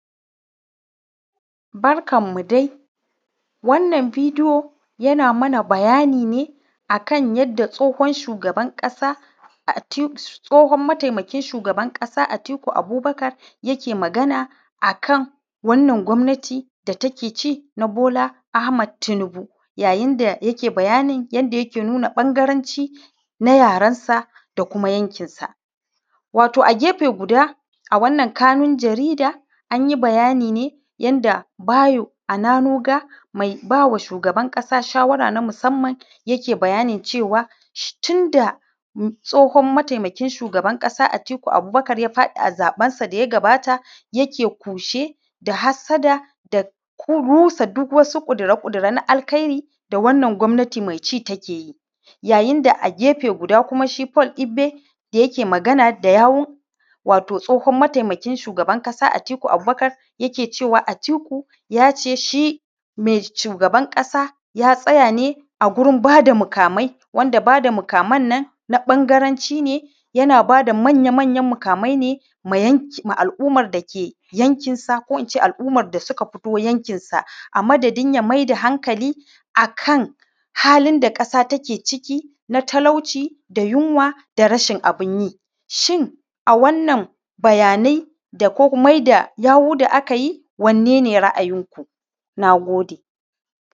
Barkan mu dai, wannan bidiyo, yana mana bayani ne, a kan yadda Tsohon shugaba Atik; Tsohon mataimakin shugaban ƙasa Atiku Abubakar yake magana a kan, wannan gwamnati da take ci, na Bola Ahmad Tinubu, yayin da yake bayanin yadda yake nuna ƃangaranci na yaransa da kuma yankinsa. Wato, a gefe guda a wannan kanun jarida, an yi bayani ne yadda Bayo Ananoga, Mai Ba Wa Shugaban ƙasa shawara na musamman, yake bayanin cewa, shi tun da Tsohon Mataimakin Shugaban ƙasa Atiku Abubakar, ya faɗi a zaƃensa da ya gabata, yake kushe da hassada da ku; rusa duk wasu ƙudura-ƙudura da alkairi, da wannan gwamnati me ci take yi yayin da a gefe guda kuma shi Paul Igbe, da yake magana da yawun, wato Tsohon Mataimakin Shugaban ƙasa Atiku Abubakar, yake cewa Atiku ya ce, shi me:; shugaban ƙasa ya tsaya ne, a gurin ba da mukamai, wanda ba da mukaman nan, na ƃangaranci ne, yana ba da manya-manyan mukamai ne, ma yanky; ma al’umar da ke yankinsa ko in ce al’umar da suka fito yankinsa, a madadin ya mai da hankali, a kan halin da ƙasa take ciki, na talauci da yinwa da rashin abin yi Shin, a wannan bayanai, da kok; mai da yawu da aka yi, wanne ne ra’ayinku, na gode.